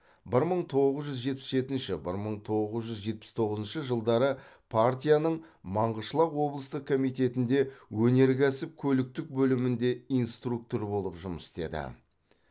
бір мың тоғыз жүз жетпіс жетінші бір мың тоғыз жүз жетпіс тоғызыншы жылдары партияның маңғышылақ облыстық комитетінде өнеркәсіп көліктік бөлімінде инструктор болып жұмыс істеді